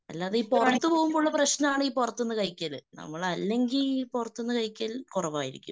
അല്ലാതെ ഈ പുറത്ത്പോകുമ്പുള്ള പ്രശ്‌നമാണ് ഈ പുറത്ത്ന്ന് കഴിക്കല്. നമ്മൾ അല്ലെങ്കിൽ ഈ പുറത്ത്ന്ന് കഴിക്കൽ കുറവായിരിക്കും.